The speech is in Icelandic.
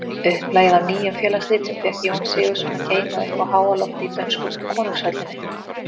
Upplagið af Nýjum félagsritum fékk Jón Sigurðsson að geyma uppi á háalofti í dönsku konungshöllinni.